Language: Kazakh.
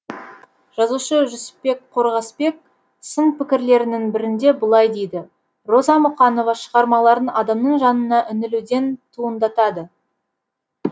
жазушы жүсіпбек қорғасбек сын пікірлерінің бірінде былай дейді роза мұқанова шығармаларын адамның жанына үңілуден туындатады